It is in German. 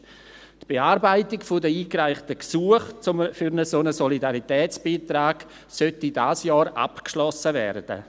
Die Bearbeitung der eingereichten Gesuche für einen solchen Solidaritätsbeitrag sollte dieses Jahr abgeschlossen werden.